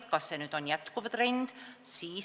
Tekkis küsimus, kas see on jätkuv trend.